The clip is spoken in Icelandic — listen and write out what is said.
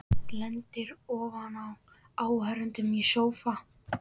Lendir ofan á áhorfendum í sófa.